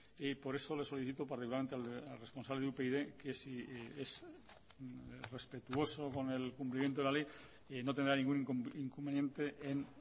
por eso le solicito particularmente al responsable de upyd que si es respetuoso con el cumplimiento de la ley no tendrá ningún inconveniente en